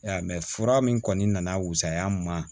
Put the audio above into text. Ya mɛ fura min kɔni nana wusaya n ma